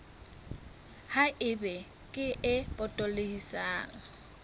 ha eba kere e potolohisang